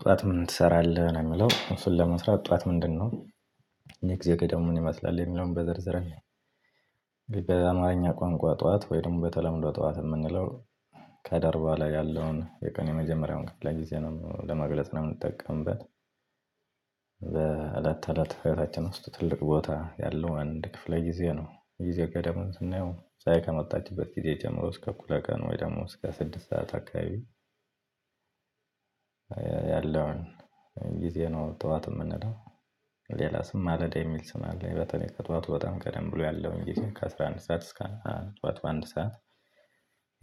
ጠዋት ምን ትሰራለህ ነው እሚለው እሱን ለመስራት ጠዋት ምንድነው? የጊዜ ገደቡ ምን ይመስላል የሚለውን በዝርዝር እንይ። በአማርኛ ቋንቋ ጠዋት ወይም በተለምዶ ጠዋት የምንለው ከደርባ ላይ ያለውን የቀኑ የመጀመሪያውን ክፍለጊዜ ነው ለመግለጽ ነው ምንጠቀምበት። በአሐት አለት ህይወታችን ውስጥ ትልቅ ቦታ ያለው አንድ ክፍለ ጊዜ ነው። ጊዜ ገደቡን ስናየው ፀሀይ ከመጣችበት ጊዜ ጀምሮ እስከ እኩለ ቀን ወይ ደግሞ እስከ ስድስት ሰዓት አካባቢ። ያለውን ጊዜ ነው ጠዋት የምንለው፣ ሌላም ስም ማለዳ የሚል ስም አለ፤ በተለይ ጠዋቱ በጣም ቀደም ብሎ ያለው እንግዲህ ከአስራ አንድ ሰዓት እስከ ጠዋት አንድ ሰዓት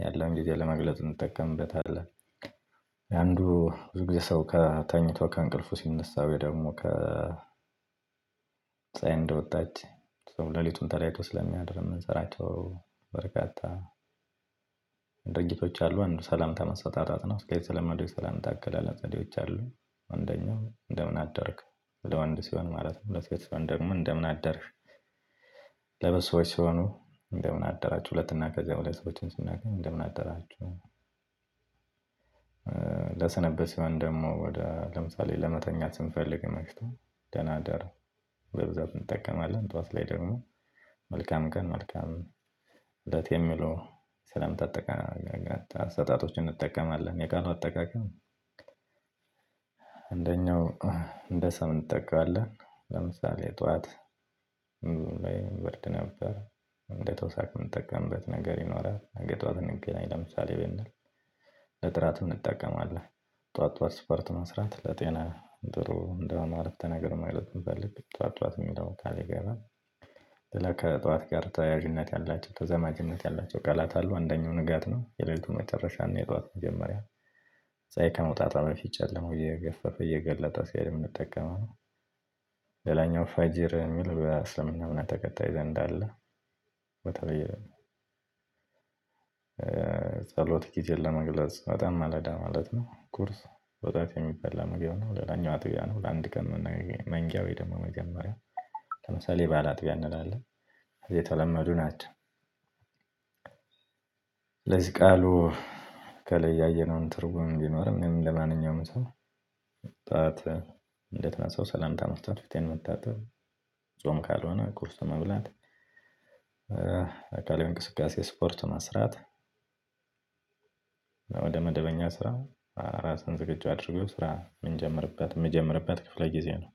ያለው ጊዜ ለመግለጽ እንጠቀምበታለን። የአንዱ ብዙ ጊዜ ሰው ከ ተኝቶ ከእንቅልፉ ሲነሳ ወይ ደግሞ ከ ፀሀይ እንደወጣች ሌሊቱን ተለይቶ ስለሚያድር የምንሰራቸው በርካታ ድርጊቶች አሉ። አንዱ ሰላምታ መሰጣጣት ነው። እስከ የተለመደው ሰላም አገላለጽ ዘዴዎች አሉ። አንደኛው እንደምን አደርክ ለወንድ ሲሆን ማለት ነው ለሴት ሲሆን ደሞ እንደምን አደርሽ። ለብዙ ሶዎች ሲሆኑ እንደምን አደራችሁ ሁለት እና ከዛ በላይ ሰዎች ሲናገኝ እንደምን አደራችሁ። ለሰንበት ሲሆን ደግሞ ወደ ለምሳሌ ለመተኛት ስንፈልግ መሽቶ ደና እደሩ። በብዛት እንጠቀማለን ጠዋት ላይ ደግሞ መልካም ቀን መልካም እለት የሚሉ ሰላምታ አጠቃቀም አሰጣጦችን እንጠቀማለን። የቃሉ አጠቃቀም። አንደኛው እንደ ሰምን እንጠቀማለን ለምሳሌ ጠዋት ብርድ ነበር። እንደተወሳክ የምንጠቀምበት ነገር ይኖራል። አንገቷ ብንገናኝ ለምሳሌ በል ለጥራትም እንጠቀማለን። ጠዋት ጠዋት ጠዋት ጠዋት ስፖርት መስራት ለጤና ጥሩ እንደማለት አይነት ነገር ማለት ነው። እንፈልግ ብለን ጠዋት ጠዋት የሚለውን ታሪክ እናገኘዋለን። ከጠዋት ጋር ተያያዥነት ያላቸው ተዘማጅነት ያላቸው ቃላት አሉ። አንደኛው ንጋት ነው። የሌሊቱን መጨረሻ እና የጧት መጀመሪያ ፀሀይ ከመውጣት በፊት ጨለማው እየገፈፈ እየገለጠ ሲል የምንጠቀመው ነው። ሌለኛው ፈጂር የሚል በእስልምና እምነት ተከታይ ዘንድ አለ። በተለይ ጸሎት ጊዜን ለመግለጽ በጣም ማለዳ ማለት ነው። ቁርስ በጧት የሚበላ ምግብ ነው። ሌላኛው አጥቢያ ነው። ለአንድ ቀን መንጊያ ወይ ደግሞ መጀመሪያ ለምሳሌ ባላአጥቢያ እንላለን የተለመዱ ናቸው። ቃሉ ከለያየነውን ትርጉም ቢኖርም ለምን ለማንኛውም ሰው ጧት እንደተነሳሁ ሰላምታ መስጠት ፊቴን መታጠብ ጾም ካልሆነ ቁርስ መብላት። አካላዊ እንቅስቃሴ ስፖርት መስራት። ወደ መደበኛ ስራ ራስህን ዝግጁ አድርጎ ስራ የምንጀምርበት የምንጀምርበት ክፍለ ጊዜ ነው።